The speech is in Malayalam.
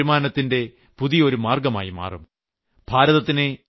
ഇത് നിങ്ങളുടെ വരുമാനത്തിന്റെ പുതിയ ഒരു മാർഗ്ഗമായി മാറും